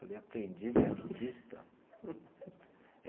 Eu falei, aprendiz de arquivista?